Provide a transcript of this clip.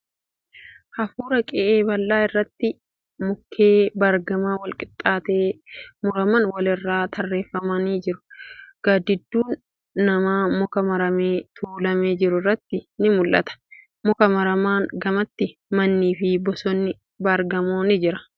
Hurufa qe'ee bal'aa irratti mukkee baargamaa walqixxeetti muraman wal irraa tarreeffamanii jiru. Gaaddidduun namaa muka muramee tuulamee jiru irratti ni mul'ata. Muka muramaan gamatti mannii fi bosonni baargamoo ni jira .